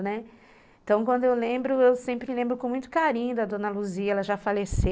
Então, quando eu lembro, eu sempre lembro com muito carinho da Dona Luzia, ela já faleceu.